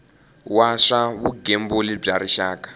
wa swa vugembuli bya rixaka